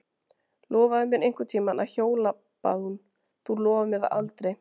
Lofaðu mér einhvern tíma að hjóla bað hún, þú lofar mér það aldrei.